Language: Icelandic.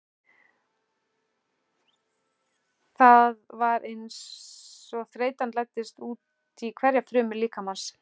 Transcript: Það var einsog þreytan læddist útí hverja frumu líkamans.